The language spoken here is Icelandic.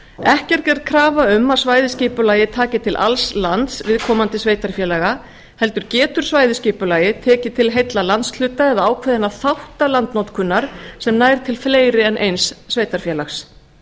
ekki er gerð krafa um að svæðisskipulagið taki til alls lands viðkomandi sveitarfélaga heldur getur svæðisskipulagið tekið til heilla landshluta eða ákveðinna þátta landnotkunar sem nær til fleiri en eins sveitarfélags